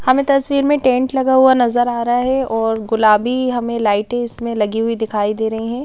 हमें तस्वीर में टेंट लगा हुआ नजर आ रहा है और गुलाबी हमें लाइटें इसमें लगी हुई दिखाई दे रही है ।